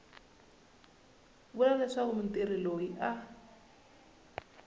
vula leswaku mutirhi loyi a